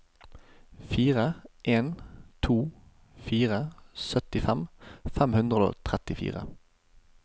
fire en to fire syttifem fem hundre og trettifire